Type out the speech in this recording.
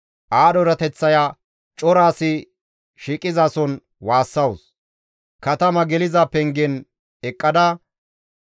Aadho erateththaya cora asi shiiqizason waassawus; katama geliza pengen eqqada,